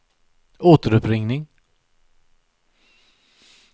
återuppringning